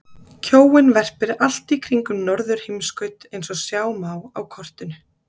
Kjóinn verpir allt í kringum norðurheimskaut eins og sjá má á kortinu.